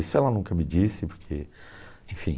Isso ela nunca me disse, porque... Enfim...